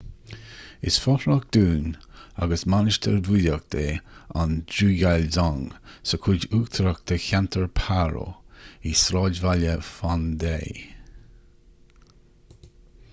is fothrach dúin agus mainistir búdaíoch é an drukgyal dzong sa chuid uachtarach de cheantar paro i sráidbhaile phondey